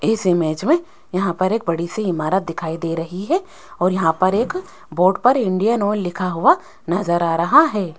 इस इमेज में यहां पर एक बड़ी सी इमारत दिखाई दे रही है और यहां पर एक बोर्ड पर इंडियन ऑयल लिखा हुआ नजर आ रहा है।